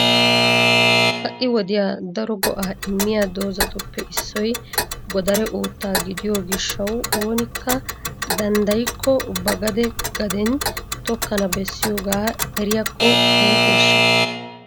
ha'i wodiya daro go''a immiy doozatuppe issoy godare uutta gidiyo gishshaw oonikka danddayyiko ba gade gaden tokkana beessiyooga eriyakko iitteshsha?